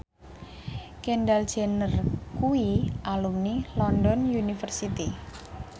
Kendall Jenner kuwi alumni London University